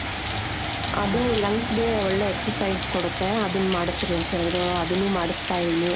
ಅದು lungs ಗೆ ಒಳ್ಳೆ exercise ಕೊಡುತ್ತೆ ಅದುನ್ ಮಾಡುಸ್ರಿ ಅಂತೇಳಿದ್ರು ಅದುನ್ನು ಮಾಡುಸ್ತಾ ಇದೀನಿ .